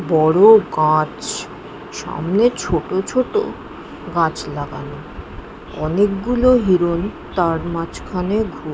বড় গাছ সামনে ছোট ছোট গাছ লাগানো অনেকগুলো হিরন তার মাঝখানে ঘু--